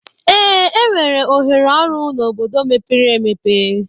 Ee, enwere ohere ọrụ n'obodo mepere emepe.